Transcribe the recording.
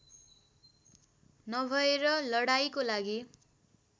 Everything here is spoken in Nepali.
नभएर लडाईँको लागि